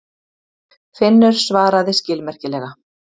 Finnur svaraði skilmerkilega.